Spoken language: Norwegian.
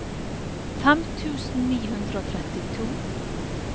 fem tusen ni hundre og trettito